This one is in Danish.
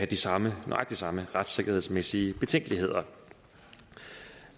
de samme samme retssikkerhedsmæssige betænkeligheder